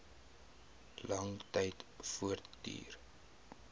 lang tyd voortduur